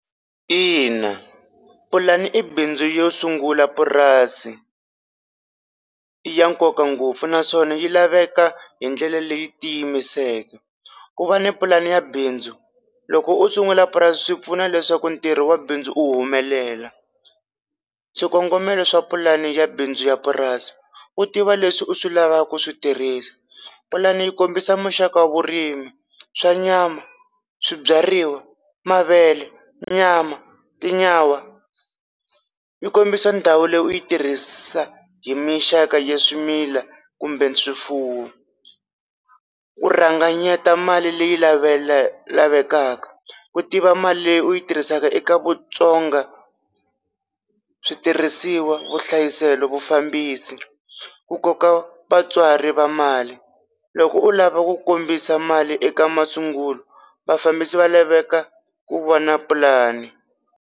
Ina pulani i bindzu yo sungula purasi i ya nkoka ngopfu naswona yi laveka hi ndlela leyi ti yimiseka, ku va ni pulani ya bindzu loko u sungula purasi swi pfuna leswaku ntirho wa bindzu u humelela, swikongomelo swa pulani ya bindzu ya purasi u tiva leswi u swi lavaka ku swi tirhisa, pulani yi kombisa muxaka wa vurimi swa nyama, swibyariwa, mavele, nyama, tinyawa, yi kombisa ndhawu leyi u yi tirhisa hi mixaka ya swimila kumbe swifuwo, u rhanganyeta mali leyi lavekaka ku tiva mali leyi u yi tirhisaka eka vutsongo, switirhisiwa, vuhlayiselo, vufambisi, u koka vatswari va mali loko u lava ku kombisa mali eka masungulo vafambisi va laveka ku vona pulani.